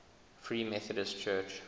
free methodist church